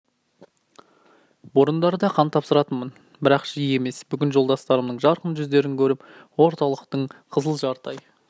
бұрындары да қан тапсыратынмын бірақ жиі емес бүгін жолдастарымның жарқын жүздерін көріп орталықтың қызыл жарты ай